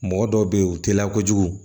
Mɔgɔ dɔw be yen u teliya kojugu